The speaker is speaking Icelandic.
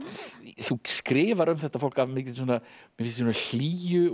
þú skrifar um þetta fólk af mikilli hlýju og